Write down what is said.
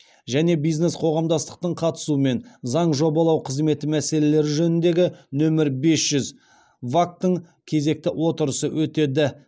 және бизнес қоғамдастықтың қатысуымен заң жобалау қызметі мәселелері жөніндегі нөмірі бес жүз вак тың кезекті отырысы өтеді